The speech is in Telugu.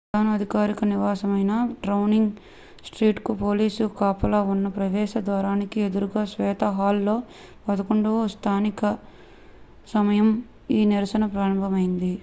ప్రధాని అధికారిక నివాసమైన డౌనింగ్ స్ట్రీట్ కు పోలీసు కాపలా ఉన్న ప్రవేశ ద్వారానికి ఎదురుగా శ్వేత హాల్ లో 11:00 స్థానిక సమయం utc+1 ఈ నిరసన ప్రారంభమైంది